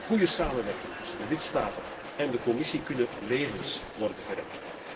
Met een goede samenwerking tussen de lidstaten en de Commissie kunnen levens worden gered.